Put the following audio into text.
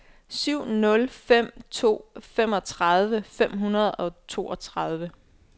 syv nul fem to femogtredive fem hundrede og toogtredive